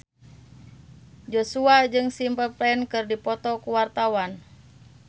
Joshua jeung Simple Plan keur dipoto ku wartawan